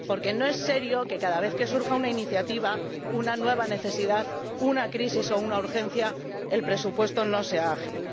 Porque no es serio que cada vez que surja una iniciativa, una nueva necesidad, una crisis o una urgencia, el presupuesto no sea ágil.